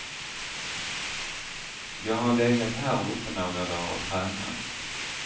Jag har legat här uppe några dar och tränat.